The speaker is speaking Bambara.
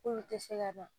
K'u tɛ se ka na